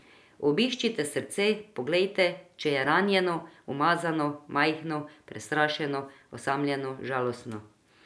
Obiščite srce, poglejte, če je ranjeno, umazano, majhno, prestrašeno, osamljeno, žalostno ...